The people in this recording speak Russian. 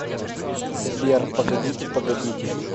сбер погодите погодите